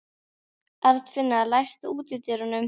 Arnfinna, læstu útidyrunum.